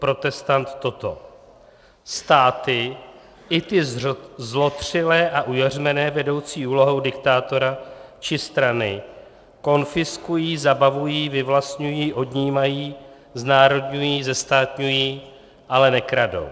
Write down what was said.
Protestant toto: Státy, i ty zlotřilé a ujařmené vedoucí úlohou diktátora či strany, konfiskují, zabavují, vyvlastňují, odnímají, znárodňují, zestátňují, ale nekradou.